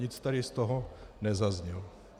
Nic tady z toho nezaznělo.